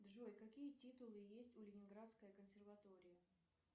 джой какие титулы есть у ленинградской консерватории